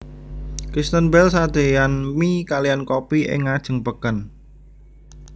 Kristen Bell sadeyan mie kaliyan kopi ing ngajeng peken